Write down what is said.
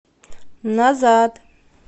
назад